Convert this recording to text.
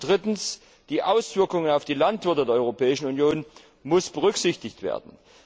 Und drittens müssen die Auswirkungen auf die Landwirte der Europäischen Union berücksichtigt werden.